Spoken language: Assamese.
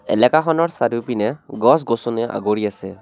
এলেকাখনৰ চাৰিওপিনে গছ-গছনিৰে আগুৰি আছে।